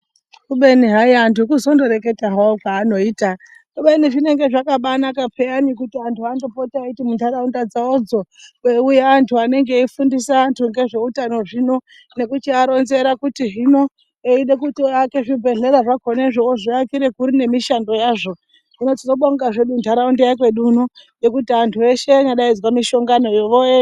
Kubeni hayi antu kuzondo reketawo hawo kwavanoita kubeni zvinenge zvakabanaka peyani kuti vantu vanotopota veiti muntaraunda dzavo dzo kweiuya antu anenge veifundisa antu ngezveutano zvino nekuchiwa ronzera kuti hino eide kuto aake chibhedhlera zvakona zvo ozviakira kuri nemishando yazvo. Hino tonobonga zvedu ndaraunda yekwedu kuno ngekuti antu eshe anyadaidzwa mishaongano yo voenda.